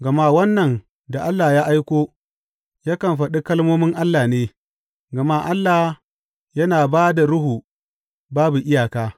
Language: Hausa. Gama wannan da Allah ya aiko yakan faɗi kalmomin Allah ne, gama Allah yana ba da Ruhu babu iyaka.